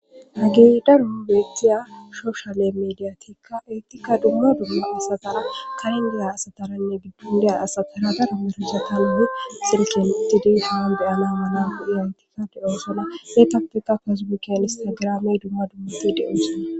Hagey daro beettiya shoshale mediyatikka eetikka dumma dumma asathara karindaya asataranne gidon deya asathara dara merizata e silken uttidi dihowan beyana mala gu7i haytika de7osona eetappeka pecbokenne telegirame dumma dummati de7osona.